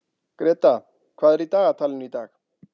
Greta, hvað er í dagatalinu í dag?